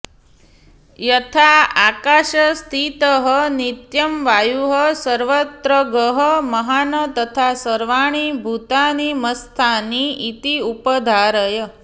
यथा आकाशस्थितः नित्यं वायुः सर्वत्रगः महान् तथा सर्वाणि भूतानि मत्स्थानी इति उपधारय